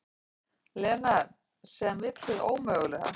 Lena sem vill hið ómögulega.